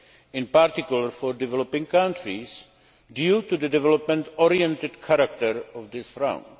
in particular for developing countries, due to the development oriented character of this round.